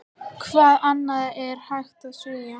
Hvað annað er hægt að segja?